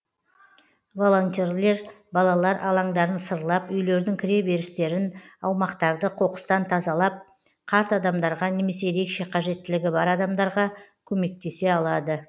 волонтерлер балалар алаңдарын сырлап үйлердің кіре берістерін аумақтарды қоқыстан тазалап қарт адамдарға немесе ерекше қажеттілігі бар адамдарға көмектесе алады